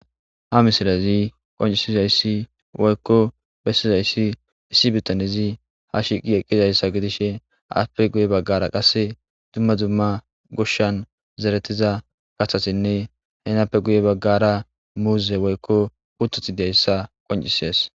ha misilazi qoncisizayssi woykko bessizayssi issi bittanezi ha shiiqi eqqizayssa gidishe aspe guye baggara qasse dumma dumma goshshan zeretiza gahasinne henappe guye baggara muuze woykko ututi deyssa qoncisees